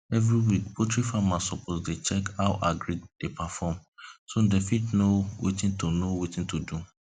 every week poultry farmers suppose dey check how agric dey perform so dem fit know watin to know watin to do